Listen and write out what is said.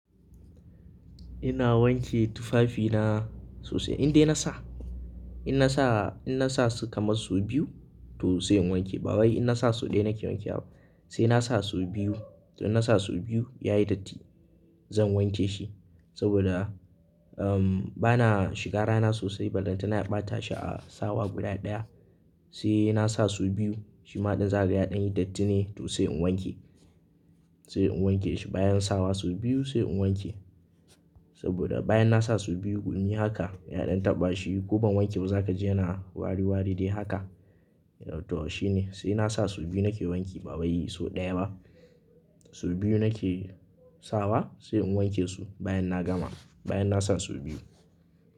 Ina wanke tufafina sosai. Indai na sa, in na sa, in na sa su kamar sau biyu to sai in wanke. Ba wai in na sa so ɗaya nake wanke wa ba. Sai na sa sau biyu. To in na sa sau biyu yayi datti zan wanke shi. Saboda, um, bana shiga rana sosai. Balantana na ɓata shi a sawa guda ɗaya. Sai na sa sau biyu. Shi ma ɗin zakaga ya ɗan yi dattine to sai in wanke. Sai in wanke shi bayan sawa sau biyu sai in wanke. Saboda bayan na sa sau biyu gumi haka ya ɗan taɓa shi ko ban wanke ba za ka ji ana wari wari dai haka. To shi ne. Sai na sa sau biyu nake wanki ba waii sau ɗaya ba. Sau biyu nake sawa sai in wanke su bayan na gama. Bayan na sa sau biyu.